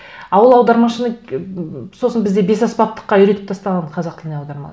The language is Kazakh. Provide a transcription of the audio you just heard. а ол аудармашыны сосын бізде бес аспаптыққа үйретіп тастаған қазақ тіліне